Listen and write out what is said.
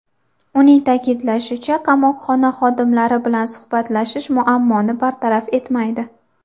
Uning ta’kidlashicha, qamoqxona xodimlari bilan suhbatlashish muammoni bartaraf etmaydi.